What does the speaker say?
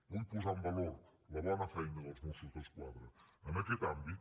vull posar en valor la bona feina dels mossos d’esquadra en aquest àmbit